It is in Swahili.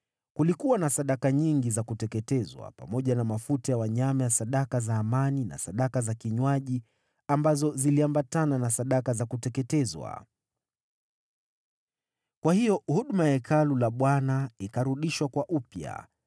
Kulikuwa na sadaka nyingi za kuteketezwa, pamoja na mafuta ya wanyama ya sadaka za amani na sadaka za kinywaji ambazo ziliambatana na sadaka za kuteketezwa. Kwa hiyo huduma ya Hekalu la Bwana ikarudishwa kwa upya.